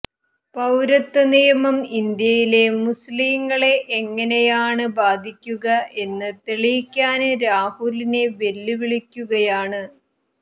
പൌരത്വ നിയമം ഇന്ത്യയിലെ മുസ്ലിങ്ങളെ എങ്ങനെയാണ് ബാധിക്കുക എന്ന് തെളിയിക്കാന് രാഹുലിനെ വെല്ലുവിളിക്കുകയാണ്